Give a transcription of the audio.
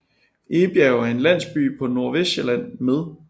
Egebjerg er en landsby på Nordvestsjælland med